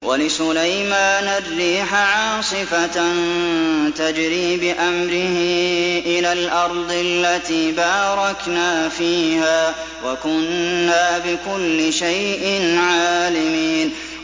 وَلِسُلَيْمَانَ الرِّيحَ عَاصِفَةً تَجْرِي بِأَمْرِهِ إِلَى الْأَرْضِ الَّتِي بَارَكْنَا فِيهَا ۚ وَكُنَّا بِكُلِّ شَيْءٍ عَالِمِينَ